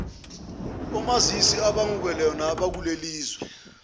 omazisi okungebona abakulelizwe